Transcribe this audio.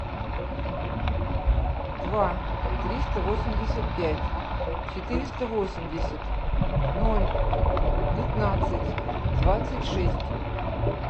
два триста восемьдесят пять четыреста восемьдесят ноль пятнадцать двадцать шесть